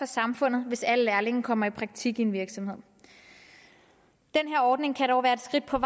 samfundet hvis alle lærlinge kommer i praktik i en virksomhed den her ordning kan dog være et skridt på